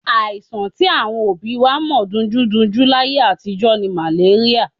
Àìsàn tí àwọn òbí wa mọ̀ dunjúdunjú láyé àtijọ́ ni màléríà.